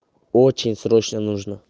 очень срочно нужно